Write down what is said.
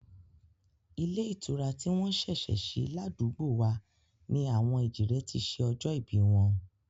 Ilé ìtura tí wọ́n ṣẹ̀ṣẹ̀ sí ládùúgbò wa ni àwọn èjìrẹ́ ti ṣe ọjọ́ ìbí wọn